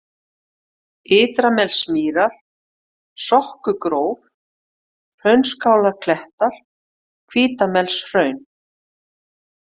Ytranesmýrar, Sokkugróf, Hraunskálarklettar, Hvítamelshraun